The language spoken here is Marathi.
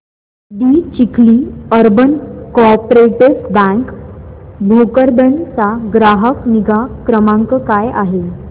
दि Chikhli urban co-operative bank Bhokardan चा ग्राहक निगा क्रमांक काय आहे